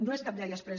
no és cap llei exprés